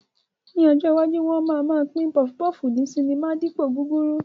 Ní ọjọ́ iwájú, wọn máa ma pín pọfupọ́ọ̀fù ní sinimá dípòo gúrúrú